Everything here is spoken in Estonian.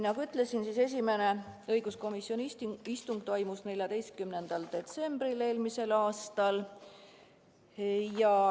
Nagu ütlesin, esimene õiguskomisjoni istung sel teemal toimus 14. detsembril eelmisel aastal.